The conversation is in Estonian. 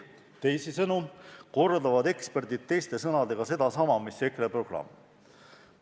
Teisisõnu kordavad eksperdid teiste sõnadega sedasama, mis on EKRE programmis.